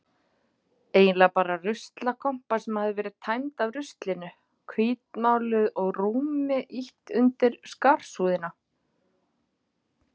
Eiginlega bara ruslakompa sem hafði verið tæmd af ruslinu, hvítmáluð og rúmi ýtt undir skarsúðina.